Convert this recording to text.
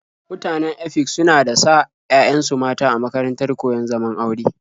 Mutanen Efik suna da sa 'ya'yansu mata a makarantar koyon zaman aure.